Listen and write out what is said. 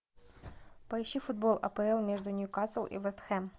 поищи футбол апл между ньюкасл и вест хэм